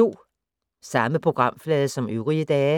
Samme programflade som øvrige dage